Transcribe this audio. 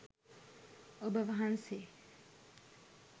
ඔබ වහන්සේ